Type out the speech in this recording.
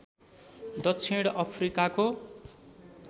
दक्षिण अफ्रिकाको